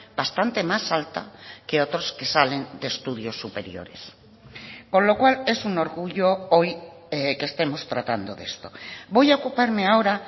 bastante más alta que otros que salen de estudios superiores con lo cual es un orgullo hoy que estemos tratando de esto voy a ocuparme ahora